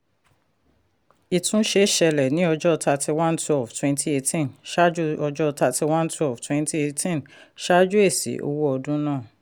ìtúnṣe ṣẹlẹ̀ ní ọjọ́ thirty one twelve twenty eighteen ṣáájú ọjọ́ thirty one twelve twenty eighteen ṣáájú èsì owó ọdún náà.